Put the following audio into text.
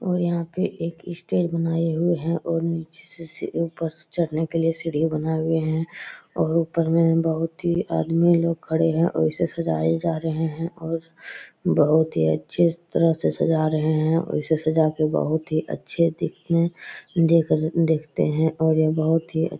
और यहाँ पे एक स्टेज बनाए हुए हैं और निचे से ऊपर चढ़ने के लिए सीढ़ी बनाए हुए हैं और ऊपर में बहुत ही आदमी लोग खड़े हैं और इसे सजाए जा रहे हैं और बहुत ही अच्छे तरह से सजा रहें हैं। वैसे सजा के बहुत ही अच्छे दिखने देख दिखते हैं और बहुत ही --